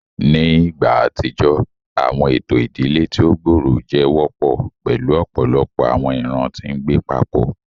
Ni igba atijọ, awọn eto idile ti o gbooro jẹ wọpọ, pẹlu ọpọlọpọ awọn iran ti ngbe papọ.